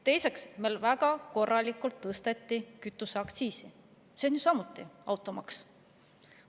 Teiseks tõsteti meil väga korralikult kütuseaktsiisi, see on ju samuti automaks.